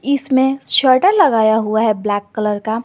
इसमें शटर लगाया हुआ है ब्लैक कलर का।